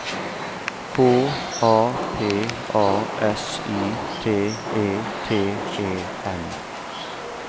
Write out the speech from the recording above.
K A P A S I T E T E N